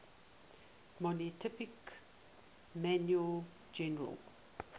monotypic mammal genera